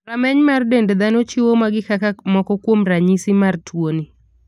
Rameny mar dend dhano chiwo magi kaka moko kuom ranyisi mar tuoni.